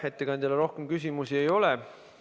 Ettekandjale rohkem küsimusi ei ole.